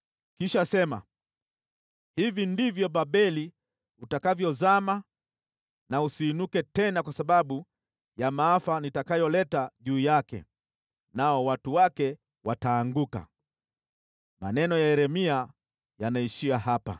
Kisha sema, ‘Hivi ndivyo Babeli utakavyozama na usiinuke tena, kwa sababu ya maafa nitakayoleta juu yake. Nao watu wake wataanguka.’ ” Maneno ya Yeremia yanaishia hapa.